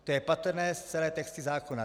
To je patrné v celé textaci zákona.